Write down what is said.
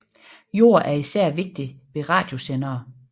Jord er især vigtig ved radiosendere